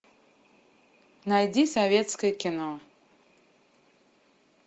найди советское кино